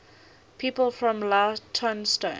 people from leytonstone